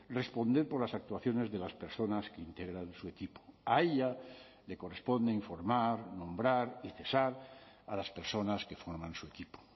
responder por las actuaciones de las personas que integran su equipo a ella le corresponde informar nombrar y cesar a las personas que forman su equipo